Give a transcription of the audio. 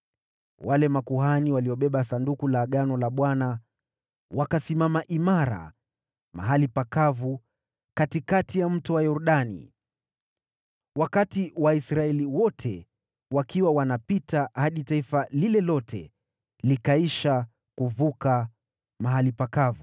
Wale makuhani waliobeba Sanduku la Agano la Bwana , wakasimama imara mahali pakavu katikati ya Mto Yordani, wakati Waisraeli wote wakiwa wanapita hadi taifa lote likaisha kuvuka mahali pakavu.